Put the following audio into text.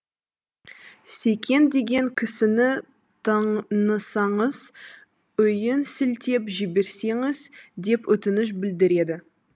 секен деген кісіні танысаңыз үйін сілтеп жіберсеңіз деп өтініш білдіреді